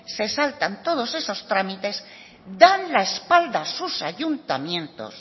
se saltan todos esos trámites dan la espalda a sus ayuntamientos